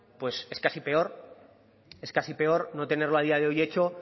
pues es casi peor es casi peor no tenerlo a día de hoy hecho